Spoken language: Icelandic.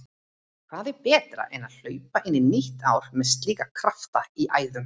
Hvað er betra en hlaupa inn í nýtt ár með slíka krafta í æðum?